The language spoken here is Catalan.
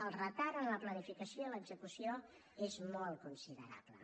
el retard en la planificació i l’execució és molt considerable